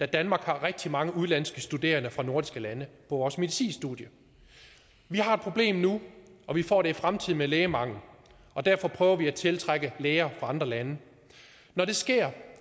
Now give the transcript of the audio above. danmark har rigtig mange udenlandske studerende fra nordiske lande på vores medicinstudie vi har et problem nu og vi får det i fremtiden med lægemangel og derfor prøver vi at tiltrække læger fra andre lande når det sker